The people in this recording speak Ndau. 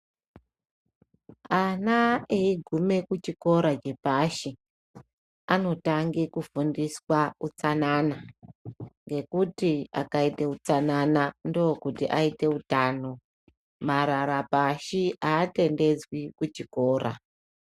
Ana eigume kuchikora chepashi anotange kufundiswa utsanana. Ngekuti akaite utsanana ndokuti aite utano marara pashi hatendedzwi kuchikora.